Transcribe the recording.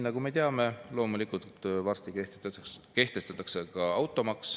" Nagu me teame, siis loomulikult kehtestatakse varsti ka automaks.